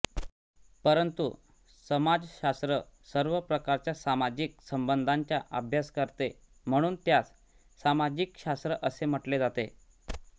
परंतु समाजशास्त्र सर्व प्रकारच्या सामाजिक संबंधांचा अभ्यास करते म्हणून त्यास सामाजिक शास्त्र असे म्हटले जाते